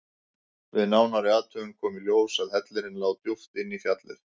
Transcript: Við nánari athugun kom í ljós að hellirinn lá djúpt inn í fjallið.